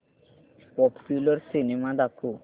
popular cinema दाखव